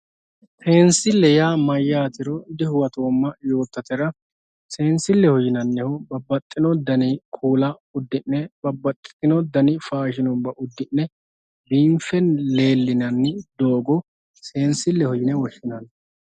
Seensile yaa mayatero dihuwatoma yotatera seensileho yaa babaxitino dani kuula udine dani uduune udine leelinaniha seensileho yinani